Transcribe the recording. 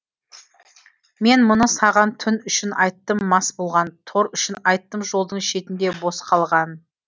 мен мұны саған түн үшін айттым мас болған тор үшін айттым жолдың шетінде бос қалған